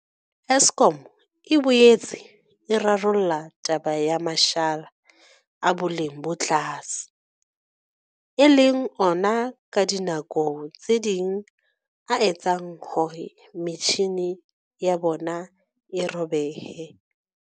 Eskom e boetse e rarolla taba ya mashala a boleng bo tlase, e leng ona ka dinako tse ding a etsang hore metjhini ya bona e robehe.